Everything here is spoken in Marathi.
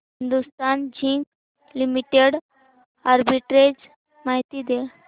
हिंदुस्थान झिंक लिमिटेड आर्बिट्रेज माहिती दे